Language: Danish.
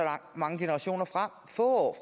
mange generationer frem få år